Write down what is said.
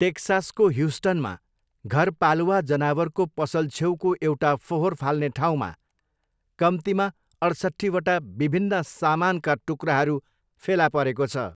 टेक्सासको ह्युस्टनमा घरपालुवा जनावरको पसल छेउको एउटा फोहोर फाल्ने ठाउँमा कम्तीमा अठसट्ठीवटा विभिन्न सामानका टुक्राहरू फेला परेको छ।